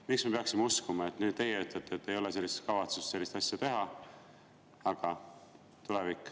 Miks me peaksime uskuma, kui teie nüüd ütlete, et ei ole kavatsust sellist asja teha?